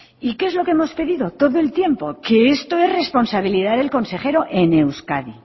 y qué es lo que hemos pedido todo el tiempo que esto es responsabilidad del consejero en euskadi